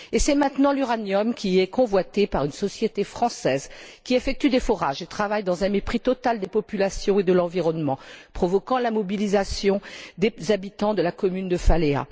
C'est maintenant l'uranium qui est convoité par une société française qui effectue des forages et travaille dans un mépris total des populations et de l'environnement, provoquant la mobilisation des habitants de la commune de Faléa.